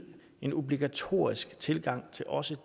en obligatorisk tilgang til også